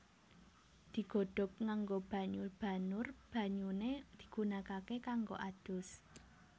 Digodhog nganggo banyu banur banyune digunakake kanggo adus